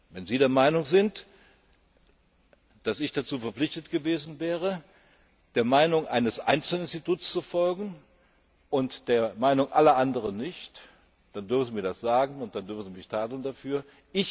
Wenn Sie der Meinung sind, dass ich dazu verpflichtet gewesen wäre, der Meinung eines Einzelinstituts zu folgen und der Meinung aller anderen nicht, dann dürfen Sie mir das sagen und dann dürfen Sie mich dafür tadeln.